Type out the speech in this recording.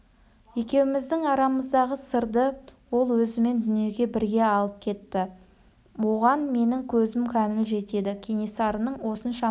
екеуміздің арамыздағы сырды ол өзімен дүниеге бірге алып кетті оған менің көзім кәміл жетеді кенесарының осыншама